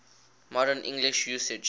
modern english usage